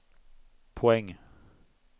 poäng